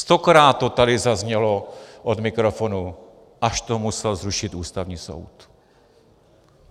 Stokrát to tady zaznělo od mikrofonu, až to musel zrušit Ústavní soud.